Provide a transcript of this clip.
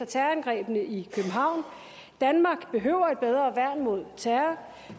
terrorangrebet i københavn danmark behøver et bedre værn mod terror